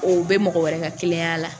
O bɛ mɔgɔ wɛrɛ ka kelenya la.